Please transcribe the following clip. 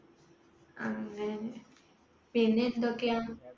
അങ്ങനെ പിന്നെ എന്തൊക്കെയാ